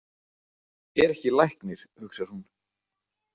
Er ekki læknir, hugsar hún.